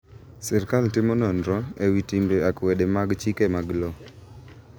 Sirkal timo nonro ewi timbe akwede mag chike mag low.